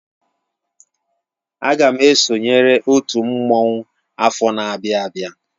Aga m esonyere otú mmanwu afọ n'abia abịa.